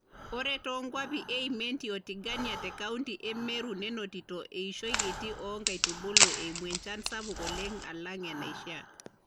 Ore too nkuapi e Imenti o Tigania te kaunti e Meru nenotito eishoi kiti oo nkaitubulu eimu enchan sapuk oleng alang enaishiaa.